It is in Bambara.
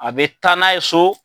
A bɛ taa n'a ye so,